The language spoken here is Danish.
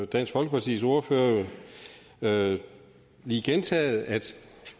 dansk folkepartis ordfører jo lige gentaget at